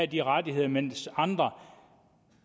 de rettigheder mens andre